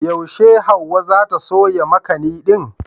Yaushe Hauwa za ta soya makani din?